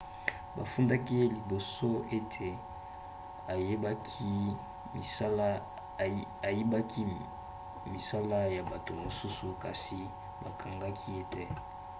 bafundaki ye liboso ete ayibaki misala ya bato mosusu kasi bakangaki ye te